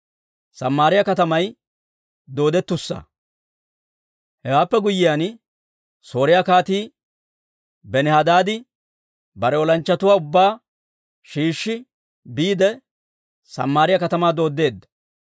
Hewaappe guyyiyaan, Sooriyaa Kaatii Benihadaadi bare olanchchatuwaa ubbaa shiishshi, biide Samaariyaa katamaa dooddeedda.